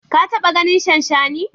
Ka taɓa ganin shanshani?